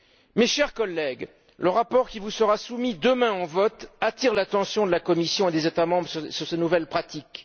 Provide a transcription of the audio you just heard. Mes chers collègues, le rapport qui vous sera soumis demain au vote attire l'attention de la Commission et des États membres sur ces nouvelles pratiques.